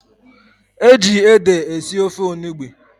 Eji ede esi ofe Onugbu